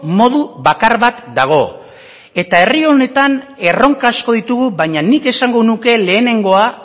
modu bakar bat dago eta herri honetan erronka asko ditugu baina nik esango nuke lehenengoa